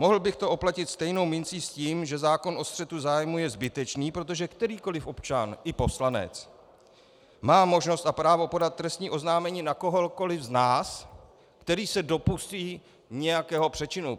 Mohl bych to oplatit stejnou mincí s tím, že zákon o střetu zájmů je zbytečný, protože kterýkoli občan, i poslanec, má možnost a právo podat trestní oznámení na kohokoli z nás, který se dopustí nějakého přečinu.